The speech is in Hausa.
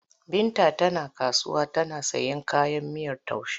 Binta tana kasuwa tana sayan kayan miyar taushe.